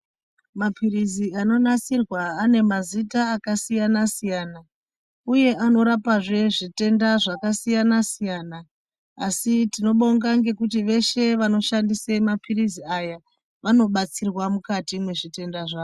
Maphirizi anonasirwa ane mazita akasiyana-siyana, uye anorapazve zvitenda zvakasiyana-siyana. Asi tinobonga ngekuti veshe vanoshandise maphirizi aya, vanobatsirwa mukati mwezvitenda zvavo.